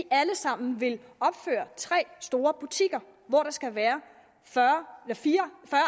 alle sammen vil opføre tre store butikker hvor der skal være fyrre